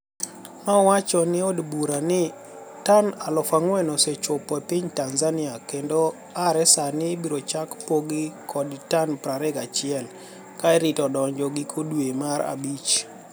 nowacho ei od bura nii toni4000 osechopo epiniy Tanizaniia kenido are Saanii ibiro chak pogi konii tani 21, ka irito donijogi giko dwe mar abich.